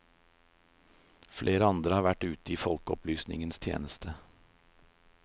Flere andre har vært ute i folkeopplysningens tjeneste.